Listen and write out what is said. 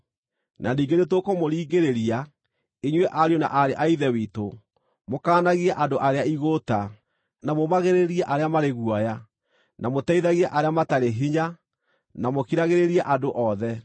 Na ningĩ nĩtũkũmũringĩrĩria, inyuĩ ariũ na aarĩ a Ithe witũ, mũkaanagie andũ arĩa igũũta, na mũũmagĩrĩrie arĩa marĩ guoya, na mũteithagie arĩa matarĩ hinya, na mũkiragĩrĩrie andũ othe.